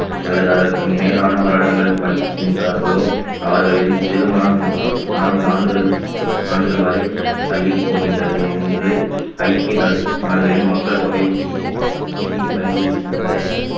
அல்லது அதற்கு மேலான வருடங்கள் படிக்கின்றார்களோ அவர்களின் திருமணம் நா~ நான்கு ஆண்டுகளு~ ஆண்டுகள் வரை தள்ளிப் போகின்றது என்று ஐக்கிய நா~ நாடுகளில் மக்கள் தொகை நிதி பரிந்துரைக்கின்றது